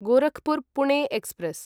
Gorakhpur Pune express